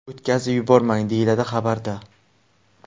O‘tkazib yubormang”, deyiladi xabarda.